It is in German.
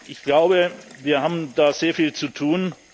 work Ich glaube, wir haben da sehr viel zu